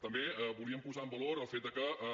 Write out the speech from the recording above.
també volíem posar en valor el fet de que el